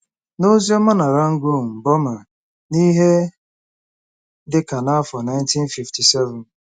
N’ozi ọma na Rangoon, Bọma, n’ihe dị ka n’afọ 1957